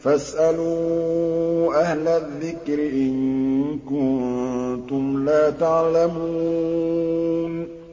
فَاسْأَلُوا أَهْلَ الذِّكْرِ إِن كُنتُمْ لَا تَعْلَمُونَ